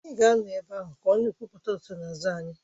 Anyị ga-anọ ebe ahụ ka a na-ekwupụta nsonaazụ anyị